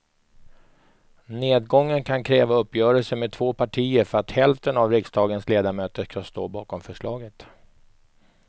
Nedgången kan kräva uppgörelser med två partier för att hälften av riksdagens ledamöter ska stå bakom förslaget.